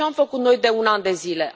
Ce am făcut noi de un an de zile?